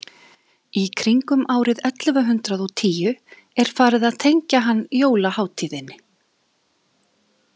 Í kringum árið ellefu hundrað og tíu er farið að tengja hann jólahátíðinni.